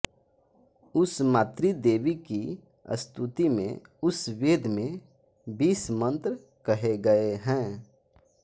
उस मातृदेवी की स्तुति में उस वेद में बीस मंत्र कहे गए हैं